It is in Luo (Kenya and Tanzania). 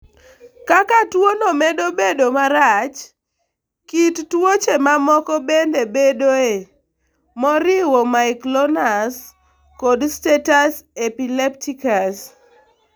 Kaka tuwono medo bedo marach, kit tuoche mamoko bende bedoe, moriwo myoclonus kod status epilepticus.